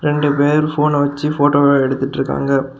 ரெண்டு பேர் போன் அ வெச்சு போட்டோலா எடுத்துட்ருகாங்க.